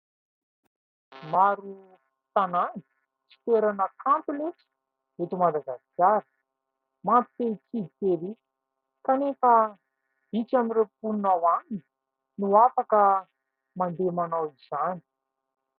Maro tanàna sy toerana kanto moa eto Madagasikara mampite hitsidika erỳ ; kanefa vitsy amin'ireo mponina ao aminy no afaka mandeha manao izany.